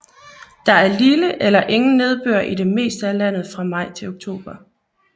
Der er lille eller ingen nedbør i det meste af landet fra maj til oktober